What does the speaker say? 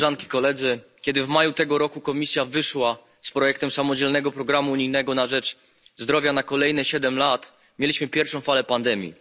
Kiedy w maju tego roku Komisja wyszła z projektem samodzielnego programu unijnego na rzecz zdrowia na kolejne siedem lat, mieliśmy pierwszą falę pandemii.